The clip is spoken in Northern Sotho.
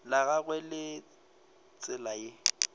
la gagwe ke tsela ye